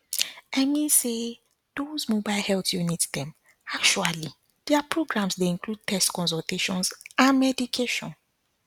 i mean say doz mobile health units dem actually their programs dey include tests consultations and medication